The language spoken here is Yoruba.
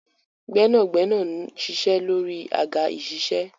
Gẹ́nàgbẹ́nà ń ṣiṣẹ́ lórí àga ìṣiṣẹ́.